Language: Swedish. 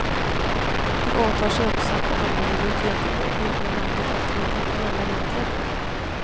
De åtar sig också att behandla minoriteter i det egna landet efter internationella regler.